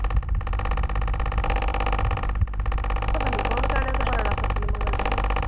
ਪਤਾ ਨੀ ਕੌਣ ਕਹਿਣ ਡੇਆ ਉਹ ਤੇ ਬਾਰਾਂ ਲੱਖ ਰੁਪਈਆ ਮੰਗਣ ਡੇ ਖਰੇ।